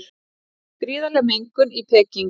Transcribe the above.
Gríðarleg mengun í Peking